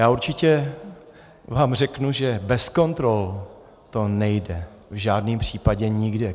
Já určitě vám řeknu, že bez kontrol to nejde v žádném případě nikde.